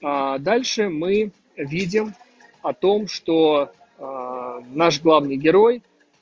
дальше мы видим о том что наш главный герой